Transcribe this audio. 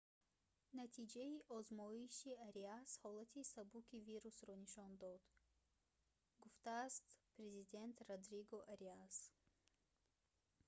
натиҷаи озмоиши ариас ҳолати сабуки вирусро нишон дод гуфтааст президент родриго ариас